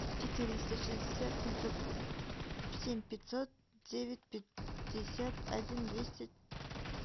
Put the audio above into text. четыреста шестьдесят семьсот семь пятьсот девять пятьдесят один двести